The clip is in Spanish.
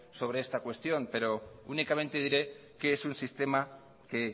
sobre esta cuestión pero únicamente diré que es un sistema que